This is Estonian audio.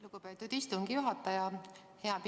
Lugupeetud istungi juhataja!